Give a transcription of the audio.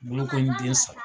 Bolokoninden saba.